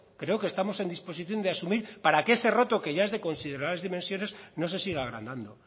creo que estamos en disposición de asumir para que ese roto que ya es de considerables dimensiones no se siga agrandando